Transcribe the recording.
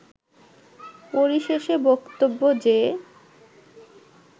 পরিশেষে বক্তব্য যে